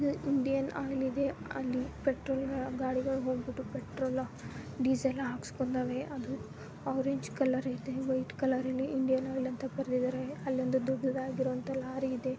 Indian oil ಇದೆ ಅಲ್ಲಿ petrol ಗಾ- ಗಾಡಿಗಳು ಪೆಟ್ರೋಲ್ ಡೀಸೆಲ್ ಲ್ಲಾ ಹಾಕಿಸಿಕೊಂತಾವೆ. ಅದು ಆರೆಂಜ್ ಕಲರ್ ಇದೆ ವೈಟ್ ಕಲರ ಲ್ಲಿ ಇಂಡಿಯನ್ ಆಯಿಲ್ ಅಂತ ಬರೆದಿದಾರೆ ಅಲ್ಲೊಂದು ದೊಡ್ಡದಾಗಿರೋ ಅಂತ ಲಾರಿ ಇದೆ.